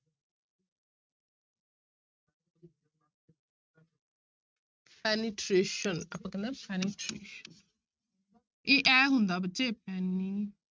Penetration ਆਪਾਂ ਕਹਿੰਦੇ ਹਾਂ penetration ਇਹ ਇਹ ਹੁੰਦਾ ਬੱਚੇ